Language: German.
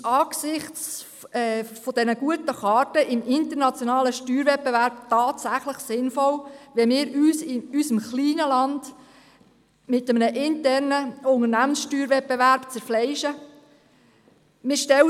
Ist es angesichts der guten Karten im internationalen Steuerwettbewerb tatsächlich sinnvoll, wenn wir uns in unserem kleinen Land mit einem internen Unternehmenssteuerwettbewerb zerfleischen?